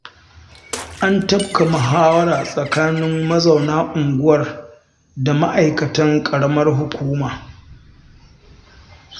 An tafka muhawara tsakanin mazauna unguwar da ma'aikatan ƙaramar hukuma